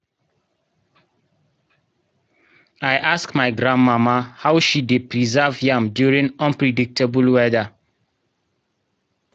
i ask my granmama how she dey preserve yam during unpredictable weather.